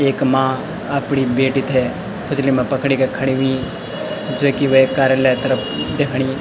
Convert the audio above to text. एक माँ अपड़ी बेटी थें खुच्ली मा पकड़ी के खड़ीं हुईं जो की वे कार्यालय तरफ दिखणी।